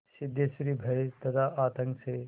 सिद्धेश्वरी भय तथा आतंक से